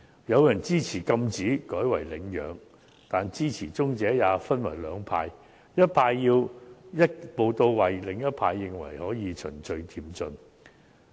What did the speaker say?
有人支持禁止買賣，改為領養，但支持者也分為兩派，一派要求一步到位，另一派則認為可以循序漸進。